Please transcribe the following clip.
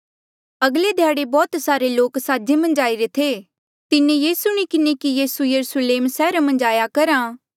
अगले ध्याड़े बौह्त सारे लोक साजे मन्झ आईरे थे तिन्हें ये सुणी किन्हें कि यीसू यरुस्लेम सैहरा मन्झ आया करहा